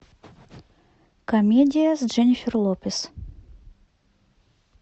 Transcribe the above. комедия с дженнифер лопес